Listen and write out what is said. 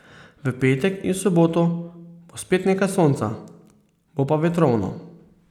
V petek in soboto bo spet nekaj sonca, bo pa vetrovno.